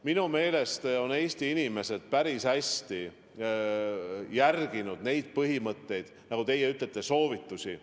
Minu meelest on Eesti inimesed päris hästi järginud neid põhimõtteid, soovitusi.